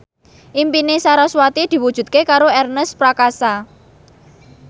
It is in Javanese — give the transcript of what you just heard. impine sarasvati diwujudke karo Ernest Prakasa